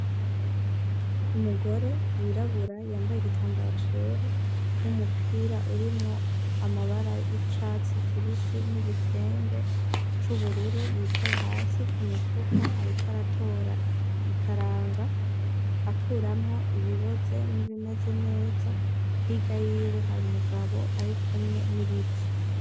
Umugore yirabura yambaye igitambara cera n'umupira urimwo amabara y'icatsi kibisi n'igitenge c'ubururu yicaye hasi ku mifuko, ariko aratora ikaranga akuramwo ibiboze n'ibimeze neza higa yiwe hari umugabo ari kumwe n'ibiti.